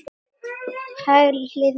Hægri hliðin var lömuð.